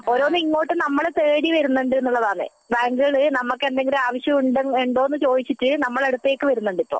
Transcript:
നമ്മളെ ഇങ്ങോട്ട് തേടി വരുന്നുണ്ട് എന്നുള്ളതാണ് ബാങ്കുകൾ നമ്മക്ക് എന്തെങ്കിലും ആവശ്യമുണ്ടോ എന്ന് ചോദിച്ചിട്ട് നമ്മളെ അടുത്തേക്ക് വരുന്നുണ്ട് ഇപ്പോൾ